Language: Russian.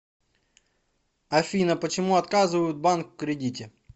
афина почему отказывают банк в кредите